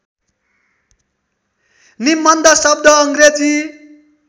निबन्ध शब्द अङ्ग्रेजी